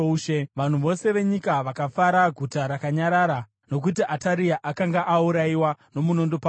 vanhu vose venyika vakafara. Guta rakanyarara, nokuti Ataria akanga aurayiwa nomunondo pamuzinda.